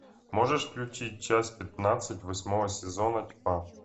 можешь включить часть пятнадцать восьмого сезона тьма